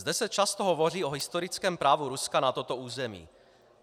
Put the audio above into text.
Zde se často hovoří o historickém právu Ruska na toto území.